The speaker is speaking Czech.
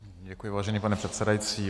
Děkuji, vážený pane předsedající.